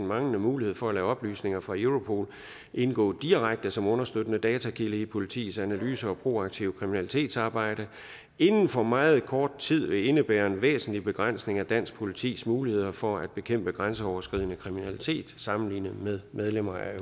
manglende mulighed for at lade oplysninger fra europol indgå direkte som understøttende datakilde i politiets analyser og proaktive kriminalitetsarbejde inden for meget kort tid vil indebære en væsentlig begrænsning af dansk politis muligheder for at bekæmpe grænseoverskridende kriminalitet sammenlignet med medlemmer af